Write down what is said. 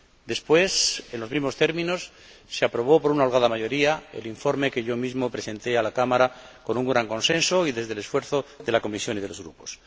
Después, en los mismos términos, se aprobó por una holgada mayoría el informe que yo mismo presenté a la Cámara, con un gran consenso y con el esfuerzo de la Comisión y de los grupos.